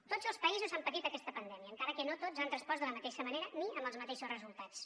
tots els països han patit aquesta pandèmia encara que no tots han respost de la mateixa manera ni amb els mateixos resultats